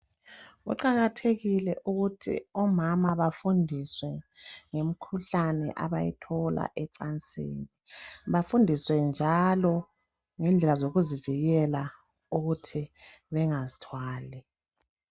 Kuqakathekile ukuthi omama bafundiswe ngemikhuhlane abayithola ecansini. Bafundiswe njalo ngendlela zokuzivikela ukuthi bengazithwali.